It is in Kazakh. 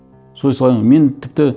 мен тіпті